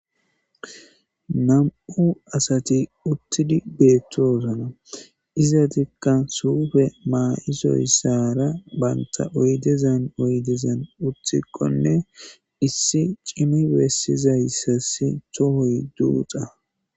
Nam'u asati uttidi beettoosana iza tikka suufe maa'isoy saara banta oydezan oydezan uthikkonne issi cimi bessizayssas tohoy duuxa.